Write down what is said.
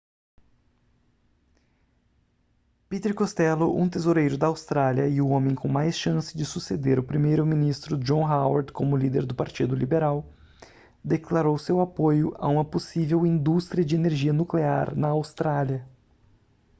peter costello um tesoureiro da austrália e o homem com mais chance de suceder o primeiro-ministro john howard como líder do partido liberal declarou seu apoio a uma possível indústria de energia nuclear na austrália